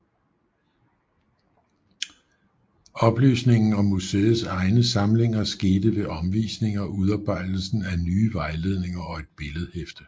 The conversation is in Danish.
Oplysningen om museets egne samlinger skete ved omvisninger og udarbejdelsen af nye vejledninger og et billedhæfte